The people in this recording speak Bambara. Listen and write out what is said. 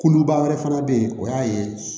Kuluba wɛrɛ fana bɛ yen o y'a ye